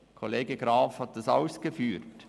Der Kollege Graf hat es ausgeführt: